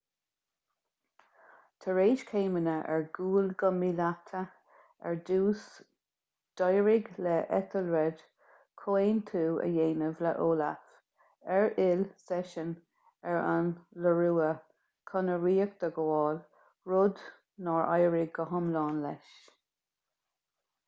tar éis céimeanna ar gcúl go míleata ar dtús d'éirigh le ethelred comhaontú a dhéanamh le olaf ar fhill seisean ar an iorua chun a ríocht a ghabháil rud nár éirigh go hiomlán leis